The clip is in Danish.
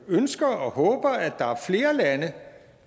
ønsker og håber at der er flere lande